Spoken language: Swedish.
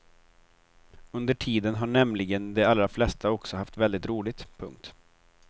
Under tiden har nämligen de allra flesta också haft väldigt roligt. punkt